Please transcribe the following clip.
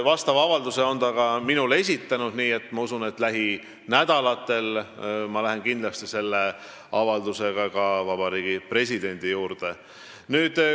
Vastava avalduse on ta ka minule esitanud, nii et ma usun, et lähinädalatel ma lähen sellega Vabariigi Presidendi juurde.